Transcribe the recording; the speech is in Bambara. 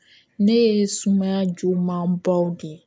Ne ye sumaya juguman baw de ye